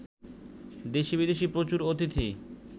দেশী বিদেশী প্রচুর অতিথি